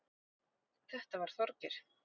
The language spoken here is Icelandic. Þetta var Þorgeir.